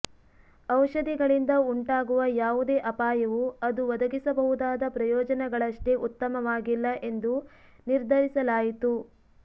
ಔಷಧಿಗಳಿಂದ ಉಂಟಾಗುವ ಯಾವುದೇ ಅಪಾಯವು ಅದು ಒದಗಿಸಬಹುದಾದ ಪ್ರಯೋಜನಗಳಷ್ಟೇ ಉತ್ತಮವಾಗಿಲ್ಲ ಎಂದು ನಿರ್ಧರಿಸಲಾಯಿತು